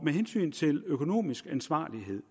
med hensyn til økonomisk ansvarlighed